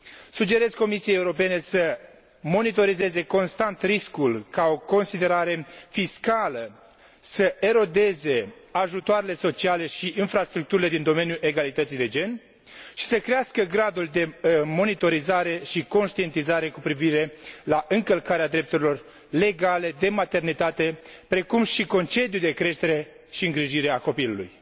Sugerez Comisiei Europene să monitorizeze constant riscul ca o considerație fiscală să erodeze ajutoarele sociale și infrastructurile din domeniul egalității de gen și să crească gradul de monitorizare și conștientizare cu privire la încălcarea drepturilor legale privind concediul de maternitate, precum și concediul de creștere și îngrijire a copilului.